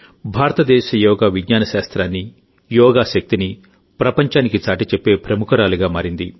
భారతదేశ యోగా విజ్ఞాన శాస్త్రానికి యోగా శక్తికి ఆమె ప్రపంచానికి చాటిచెప్పే ప్రముఖురాలిగా మారింది